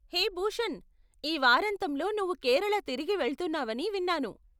హే భూషణ్, ఈ వారాంతంలో నువ్వు కేరళ తిరిగి వెళ్తున్నావని విన్నాను.